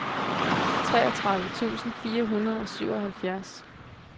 treogtredive tusind fire hundrede og syvoghalvfjerds